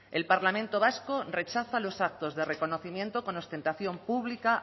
el parlamento vasco rechaza los actos de reconocimiento con ostentación pública